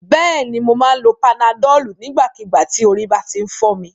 Bẹ́ẹ̀ni, mo máa ń lo panadọ́ọ̀lù nígbàkígbà tí orí bá ti ń fọ́ mi.